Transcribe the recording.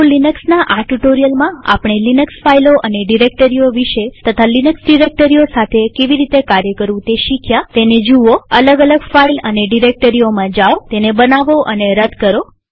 તો લિનક્સના આ ટ્યુ્ટોરીઅલમાં આપણે લિનક્સ ફાઈલો અને ડિરેક્ટરીઓ વિષે તથા લિનક્સ ડિરેક્ટરીઓ સાથે કેવી રીતે કાર્ય કરવું તે શીખ્યાતેને જુઓઅલગ અલગ ફાઈલ અને ડિરેક્ટરીઓમાં જાઓતેને બનાવોતેને રદ કરો